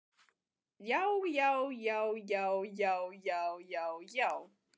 JÁ, JÁ, JÁ, JÁ, JÁ, JÁ, JÁ, JÁ.